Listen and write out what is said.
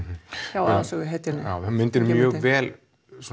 hjá aðalsöguhetjunni já myndin er mjög vel